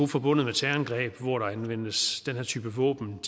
forbundet terrorangreb hvor der anvendes den her type våben